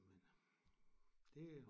Men øh det